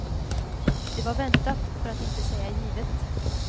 Det var väntat, för att inte säga givet.